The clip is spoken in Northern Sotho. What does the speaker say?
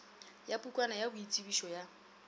ya pukwana ya boitsebišo ya